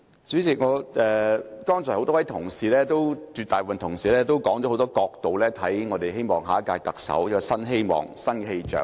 主席，剛才很多同事，其實是絕大部分同事，都提出了很多角度，希望下屆特首帶來新希望、新氣象。